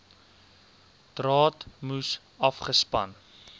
draad moes afgespan